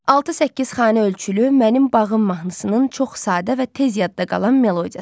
6-8 xana ölçülü mənim bağım mahnısının çox sadə və tez yadda qalan melodiyası var.